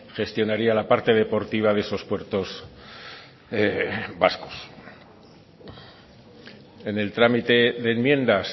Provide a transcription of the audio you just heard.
gestionaría la parte deportiva de esos puertos vascos en el trámite de enmiendas